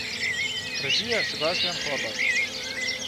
Režija Sebastijan Horvat.